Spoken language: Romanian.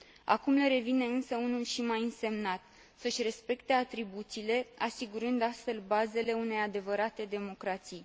Acum le revine însă unul și mai însemnat să își respecte atribuțiile, asigurând astfel bazele unei adevărate democrații.